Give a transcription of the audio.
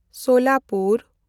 Solapur